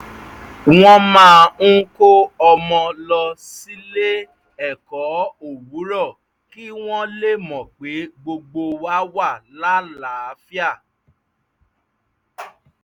wọ́n máa ń kó ọmọ lọ sílé-ẹ̀kọ́ owurọ̀ kí wọ́n lè mọ pé gbogbo wa wà láàlàáfíà